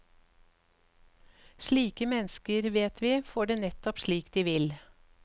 Slike mennesker, vet vi, får det nettopp slik de vil.